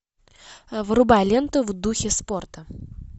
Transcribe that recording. врубай ленту в духе спорта